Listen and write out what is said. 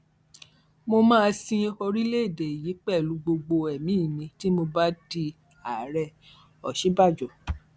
mo máa sin orílẹèdè yìí pẹlú gbogbo ẹmí mi tí mo bá di ààrẹòsínbàjò